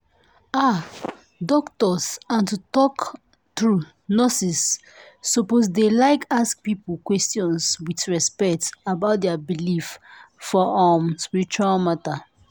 ah! doctors and to talk true nurses suppose dey like ask people question with respect about dia believe for um spiritual matter.